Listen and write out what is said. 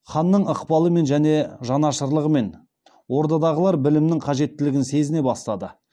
ханның ықпалымен және жанашырлығымен ордадағылар білімнің қажеттілігін сезіне бастады